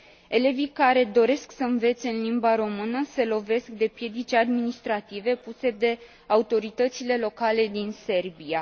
Elevii care doresc să învețe în limba română se lovesc de piedici administrative puse de autoritățile locale din Serbia.